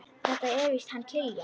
Þetta er víst hann Kiljan.